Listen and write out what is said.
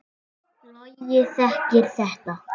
Logi þekkir þetta.